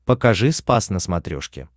покажи спас на смотрешке